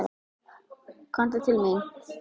Komdu til mín.